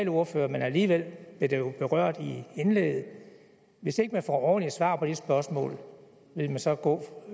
ordfører men alligevel blev det jo berørt i indlægget hvis ikke man får ordentlige svar på de spørgsmål vil man så gå